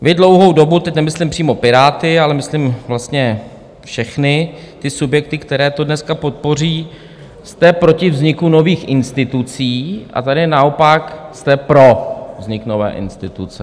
Vy dlouhou dobu - teď nemyslím přímo Piráty, ale myslím vlastně všechny ty subjekty, které to dneska podpoří - jste proti vzniku nových institucí, a tady naopak jste pro vznik nové instituce.